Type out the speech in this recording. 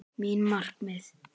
Mín markmið?